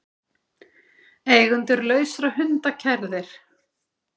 Eigendur lausra hunda kærðir